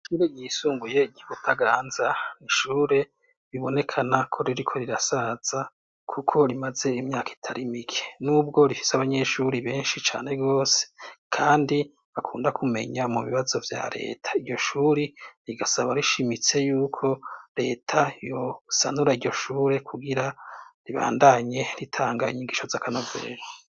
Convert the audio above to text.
Iri yisunguye igibutaganza nishure bibonekana ko ririko rirasaza, kuko rimaze imyaka itari mike n'ubwo rifise abanyeshuri benshi cane bose, kandi akunda kumenya mu bibazo vya leta iryo shuri rigasaba rishimitse yuko leta yosanura iryo shure wira ribandanye ritanga inyigisho z'akanovera.